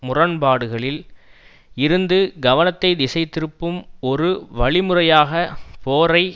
முரண்பாடுகளில் இருந்து கவனத்தை திசைதிருப்பும் ஒரு வழிமுறையாக போரை